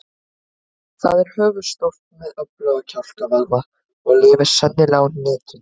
Það er höfuðstórt með öfluga kjálkavöðva og lifir sennilega á hnetum.